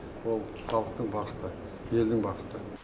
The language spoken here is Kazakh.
ол халықтың бақыты елдің бақыты